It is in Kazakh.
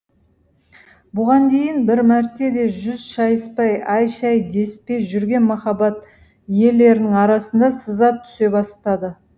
бұған дейін бір мәрте де жүз шайыспай әй шәй деспей жүрген махаббат иелерінің арасына сызат түсе бастады